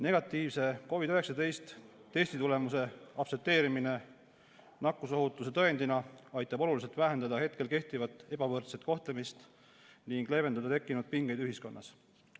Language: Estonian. Negatiivse COVID-19 testi tulemuse aktsepteerimine nakkusohutuse tõendina aitab oluliselt vähendada hetkel kehtivat ebavõrdset kohtlemist ning leevendada tekkinud pingeid ühiskonnas.